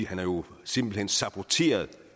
han jo simpelt hen har saboteret